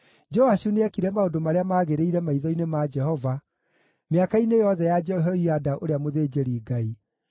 Joashu nĩekire maũndũ marĩa maagĩrĩire maitho-inĩ ma Jehova mĩaka-inĩ yothe ya Jehoiada ũrĩa mũthĩnjĩri-Ngai.